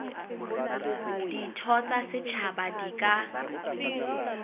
ditho tsa setjhaba di ka